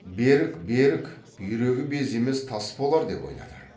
берік берік бүйрегі без емес тас болар деп ойлады